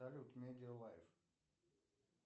салют медиа лайф